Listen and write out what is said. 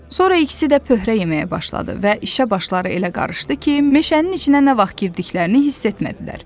Sonra ikisi də pöhrə yeməyə başladı və işə başları elə qarışdı ki, meşənin içinə nə vaxt girdiklərini hiss etmədilər.